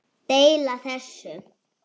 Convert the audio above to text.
Deila þessu